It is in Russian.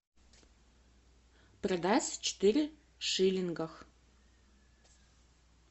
продать четыре шиллингах